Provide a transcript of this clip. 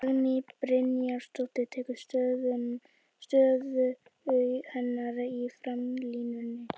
Dagný Brynjarsdóttir tekur stöðu hennar í framlínunni.